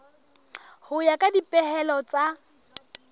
ho ya ka dipehelo tsa